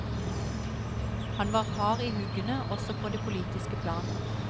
Han var hard i huggene også på det politiske plan.